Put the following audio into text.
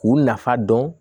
K'u nafa dɔn